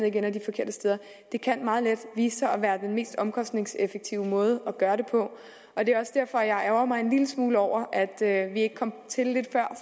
ikke ender de forkerte steder det kan meget let vise sig at være den mest omkostningseffektive måde at gøre det på og det er også derfor jeg ærgrer mig en lille smule over at vi ikke kom til lidt før